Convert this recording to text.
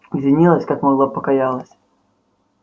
извинилась как могла покаялась